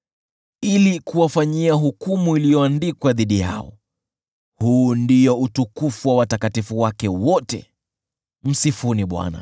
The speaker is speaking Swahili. ili kuwafanyia hukumu iliyoandikwa dhidi yao. Huu ndio utukufu wa watakatifu wake wote. Msifuni Bwana .